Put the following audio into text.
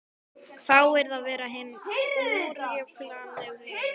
Það yrði að vera hinn órjúfanlegi veggur.